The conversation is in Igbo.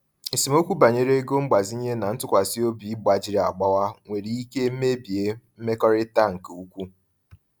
Esemokwu banyere ego mgbazinye na ntụkwasị obi gbajiri agbawa nwere ike mebie mmekọrịta nke ukwuu.